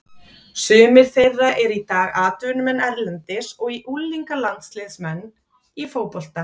Sumir þeirra eru í dag atvinnumenn erlendis og unglingalandsliðsmenn í fótbolta.